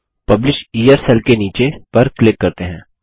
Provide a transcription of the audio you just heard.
publisher के नीचे cell पर क्लिक करते हैं